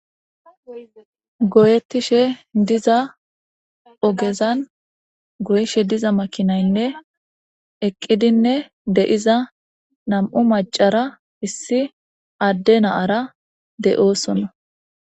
Goyetishe diza ogezani goyishe diza makinayne eqidinne de'za nam'u macara issi Ade na'ara de'osona.